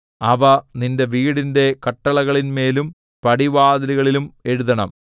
അവ നിന്റെ വീടിന്റെ കട്ടിളകളിൻ മേലും പടിവാതിലുകളിലും എഴുതണം